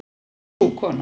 Sú kona